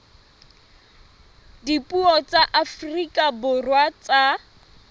dipuo tsa afrika borwa tsa